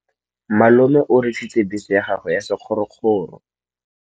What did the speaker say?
Malome o rekisitse bese ya gagwe ya sekgorokgoro.